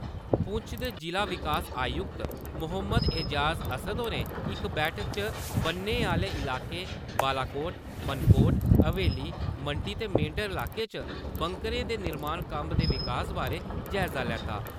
पुंछ दे जिला विकास आयुक्त मोहम्मद ऐजाज असद होरें इक बैठका च बन्ने आह्‌ले इलाकें बालाकोट, मानकोट, हवेली, मंडी ते मेंडर इलाके च बंकरें दे निर्माण कम्मे दे विकास बारे जायजा लैता।